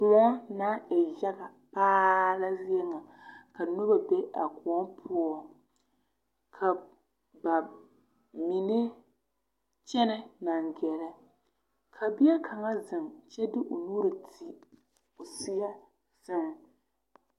Kõɔ na e yaɡa paa la zie ŋa ka noba be a kõɔ poɔ ka ba mine kyɛnɛ naŋ ɡɛrɛ ka bie kaŋa zeŋ kyɛ de o nuuri ti o seɛ sɛŋ.